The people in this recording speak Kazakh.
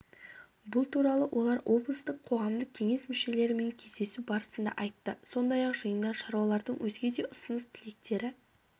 бұл туралы олар облыстық қоғамдық кеңес мүшелерімен кездесу барысында айтты сондай-ақ жиында шаруалардың өзге де ұсыныс-тілектері